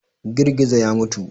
Girgizo ya mutu.